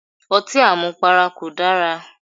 Otí àmupara kò dara.